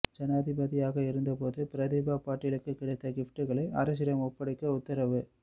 ஜனாதிபதியாக இருந்தபோது பிரதீபா பாட்டீலுக்கு கிடைத்த கிஃப்டுகளை அரசிடம் ஒப்படைக்க உத்தரவு